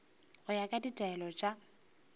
go ya ka ditaelo tša